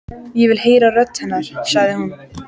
Ég vil heyra rödd hennar, sagði hún.